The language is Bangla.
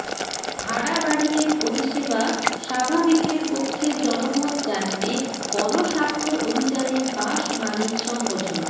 ভাড়া বাড়িয়ে পরিষেবা স্বাভাবিকের পক্ষে জনমত জানতে গণস্বাক্ষর অভিযানে বাস মালিক সংগঠন